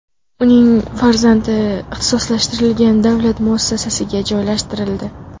Uning farzandi ixtisoslashtirilgan davlat muassasasiga joylashtirildi.